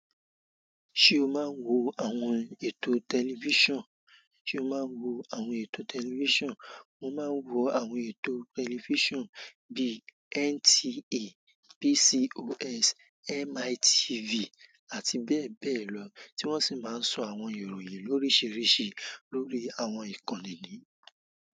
Ṣé o máa ń wo àwọn ètò tẹlifíṣàn? Ṣé o máa ń wo àwọn ètò tẹlifíṣàn? Mo máa ń wo àwọn ètò tẹlifíṣàn bíi NTA, PCOS, MITV àti bẹ́ẹ̀ bẹ́ẹ̀ lọ tí wọ́n sì máa ń sọ àwọn ìròyìn lóríṣiríṣi lórí àwọn ìkànnì ni.